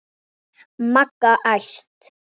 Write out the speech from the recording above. Magga æst.